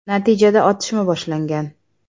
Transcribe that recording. Natijada otishma boshlangan.